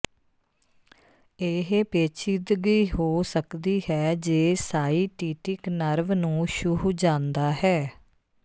ਇਹ ਪੇਚੀਦਗੀ ਹੋ ਸਕਦੀ ਹੈ ਜੇ ਸਾਈਟੀਟਿਕ ਨਰਵ ਨੂੰ ਛੂਹ ਜਾਂਦਾ ਹੈ